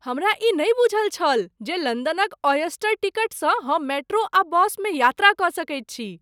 हमरा ई नहि बूझल छल जे लंदनक ऑयस्टर टिकटसँ हम मेट्रो आ बस मे यात्रा कऽ सकैत छी।